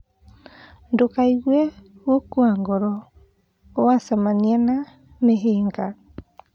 Ndũkeigue gũkua ngoro wacemania na mĩhĩnga.